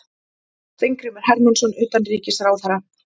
Steingrímur Hermannsson utanríkisráðherra.